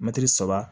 Mɛtiri saba